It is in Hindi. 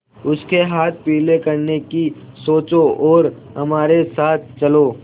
उसके हाथ पीले करने की सोचो और हमारे साथ चलो